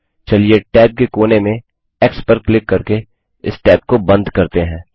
चलिए टैब के कोने में एक्स पर क्लिक करके इस टैब को बंद करते हैं